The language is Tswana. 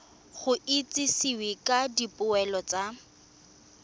go itsisiwe ka dipoelo tsa